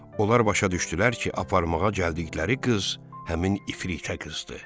Onlar başa düşdülər ki, aparmağa gəldikləri qız həmin ifritə qızdı.